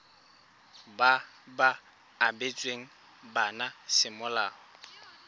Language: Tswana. ba ba abetsweng bana semolao